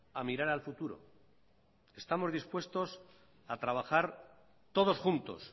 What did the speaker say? a mirar al futuro estamos dispuestos a trabajar todos juntos